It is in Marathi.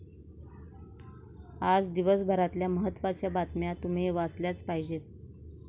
आज दिवसभरातल्या महत्त्वाच्या बातम्या तुम्ही वाचल्याच पाहिजेत